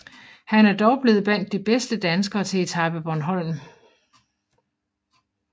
Han er dog blevet blandt de bedste danskere til Etape Bornholm